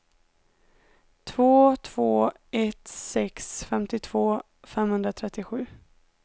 två två ett sex femtiotvå femhundratrettiosju